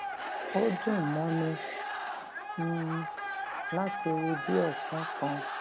ó dùn mọni um láti rí bí òsán kan